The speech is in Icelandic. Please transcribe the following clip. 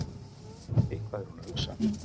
Eitthvað er hún að hugsa.